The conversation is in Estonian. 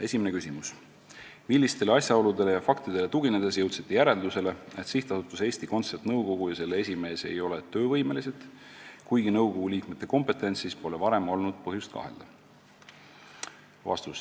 Esimene küsimus: "Millistele asjaoludele ja faktidele tuginedes jõudsite järeldusele, et SA Eesti Kontsert nõukogu ja selle esimees ei ole "töövõimelised", kuigi nõukogu liikmete kompetentsuses pole varem olnud põhjust kahelda?